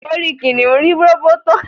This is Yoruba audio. orí kìnìún rí róbótó